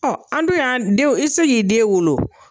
an dun y'an denw i tɛ se k'i den wolo o.